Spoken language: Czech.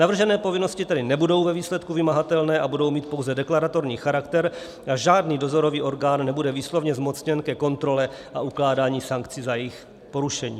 Navržené povinnosti tedy nebudou ve výsledku vymahatelné a budou mít pouze deklaratorní charakter a žádný dozorový orgán nebude výslovně zmocněn ke kontrole a ukládání sankcí za jejich porušení.